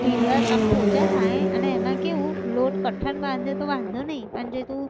ઢીલા આમ પોચા થાય અને એના કેવું લોટ કઠણ બાંધે તો વાંધો નઈ પણ જે તું